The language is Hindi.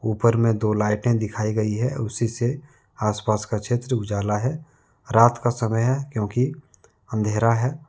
ऊपर में दो लईटे दिखाई गई है उसी से आसपास का क्षेत्र उजाला है रात का समय है क्योंकि अंधेरा है।